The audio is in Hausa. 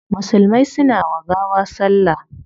Musulmai suna wa gawa salla